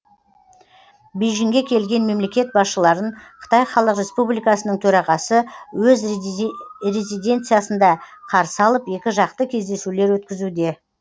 бейжіңге келген мемлекет басшыларын қытай халық республикасының төрағасы өз резиденциясында қарсы алып екіжақты кездесулер өткізуде